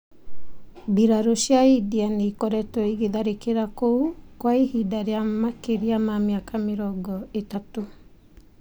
Mbirarū cia India nĩ ĩkoretwo ĩgĩtharĩkĩra kũu kwa ihinda rĩa makĩria ma mĩaka mĩrongo ĩtatũ.